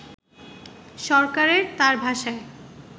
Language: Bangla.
সরকারের, তার ভাষায়